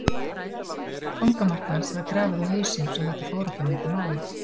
Fangamark hans var grafið á hausinn svo þetta fór ekki á milli mála.